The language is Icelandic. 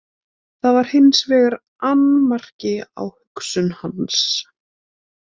Það var hins vegar annmarki á hugsun hans.